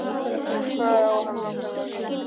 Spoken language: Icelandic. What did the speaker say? En hvað á hann nákvæmlega við?